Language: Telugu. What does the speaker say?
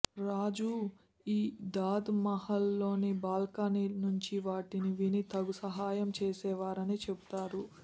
రాజు ఈ దాద్ మహల్ లోని బాల్కని నుంచి వాటిని విని తగు సహాయం చేసేవారని చెబుతారు